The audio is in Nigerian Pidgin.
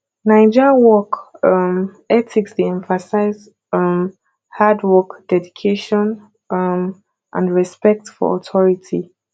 naija work um ethics dey emphasize um hard work dedication um and respect for authority